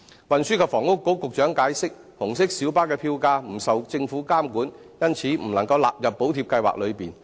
運輸及房屋局局長解釋，紅色小巴的票價不受政府監管，因此未能納入補貼計劃內。